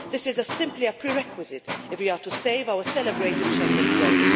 This is simply a prerequisite if we are to save our celebrated Schengen zone.